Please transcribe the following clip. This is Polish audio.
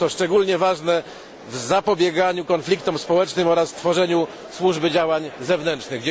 Jest to szczególnie ważne w zapobieganiu konfliktom społecznym oraz tworzeniu Służby Działań Zewnętrznych.